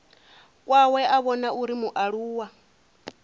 kwawe a vhona uri mualuwa